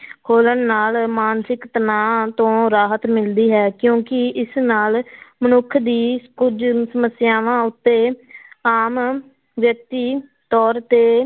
ਖੋਲਣ ਨਾਲ ਮਾਨਸਿਕ ਤਣਾਅ ਤੋਂ ਰਾਹਤ ਮਿਲਦੀ ਹੈ ਕਿਉਂਕਿ ਇਸ ਨਾਲ ਮਨੁੱਖ ਦੀ ਕੁੱਝ ਸਮੱਸਿਆਵਾਂ ਉੱਤੇ ਆਮ ਵਿਅਕਤੀ ਤੌਰ ਤੇ